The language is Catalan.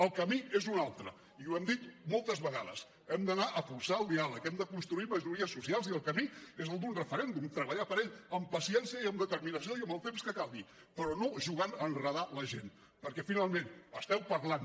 el camí és un altre i ho hem dit moltes vegades hem d’anar a forçar el diàleg hem de construir majories socials i el camí és el d’un referèndum treballar per ell amb paciència i amb determinació i amb el temps que calgui però no jugant a enredar la gent perquè finalment esteu parlant